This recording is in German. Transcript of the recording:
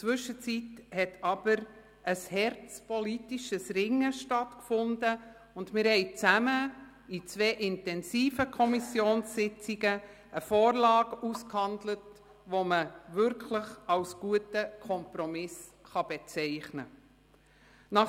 Zwischenzeitlich fand aber ein hartes politisches Ringen während zweier intensiver Kommissionssitzungen statt, und wir haben zusammen eine Vorlage ausgehandelt, die man als wirklich guten Kompromiss bezeichnen kann.